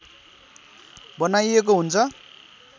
बनाइएको हुन्छ